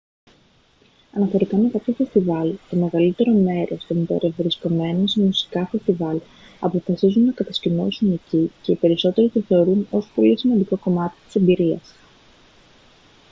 αναφορικά με κάποια φεστιβάλ το μεγαλύτερο μέρος των περευρισκόμενων σε μουσικά φεστιβάλ αποφασίζουν να κατασκηνώσουν εκεί και οι περισσότεροι το θεωρούν ως πολύ σημαντικό κομμάτι της εμπειρίας